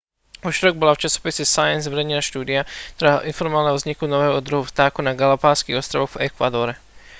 vo štvrtok bola v časopise science zverejnená štúdia ktorá informovala o vzniku nového druhu vtákov na galapágskych ostrovoch v ekvádore